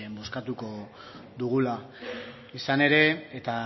bozkatuko dugula izan ere eta